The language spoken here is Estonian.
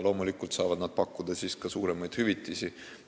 Loomulikult saavad nad pakkuda siis ka suuremaid hüvitisi.